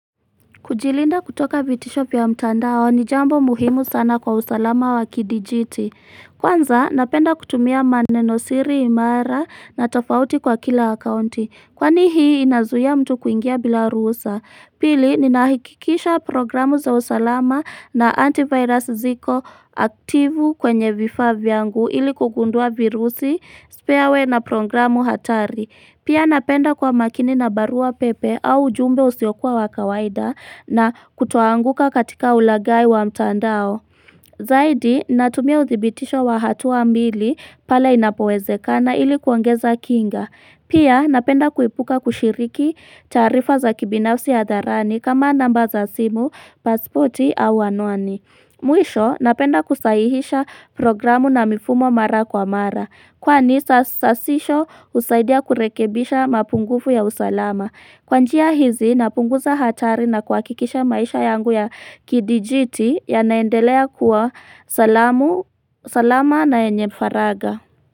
Kujilinda kutoka vitisho vya mtandao ni jambo muhimu sana kwa usalama wa kidijiti. Kwanza napenda kutumia manenosiri imara na tofauti kwa kila akaunti Kwani hii inazuia mtu kuingia bila ruhusa Pili ninahikikisha programu za usalama na antivirus ziko. Aktivu kwenye vifavya ngu ili kugundua virusi, spareware na programu hatari Pia napenda kwa makini na barua pepe au jumbe usiokua wakawaida na kutoanguka katika ulagai wa mtandao. Zaidi natumia uzibitisho wa hatua mbili pale inapowezeka na ilikuangeza kinga Pia napenda kuipuka kushiriki taarifa za kibinafsi ya dharani kama namba za simu, pasipoti au anwani. Mwisho napenda kusahihisha programu na mifumo mara kwa mara Kwani sasisho usaidia kurekebisha mapungufu ya usalama Kwanjia hizi napunguza hatari na kwa kikisha maisha yangu ya kidijiti ya naendelea kuwa salamu. Salama na enyefaraga.